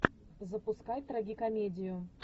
запускай трагикомедию